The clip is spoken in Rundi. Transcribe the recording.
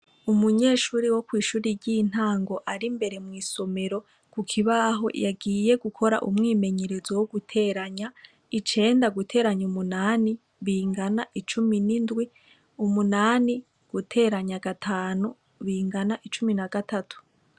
Umunyeshuri wo kw'ishuri ry'intango ari imbere mw'isomero ku kibaho, yagiye gukora umwimenyerezo wo guteranya, icenda guteranya umunani bingana icumi n'indwi, umunani guteranya gatanu bingana icumi na gatatu.